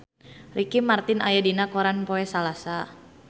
Ricky Martin aya dina koran poe Salasa